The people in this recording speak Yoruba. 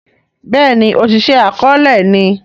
béèni Oṣiṣẹ akọọlẹ ni